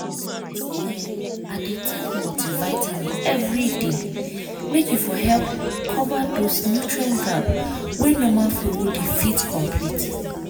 see[um]i dey take multivitamin every day make e for help cover those nutrient gap wey normal food no dey fit complete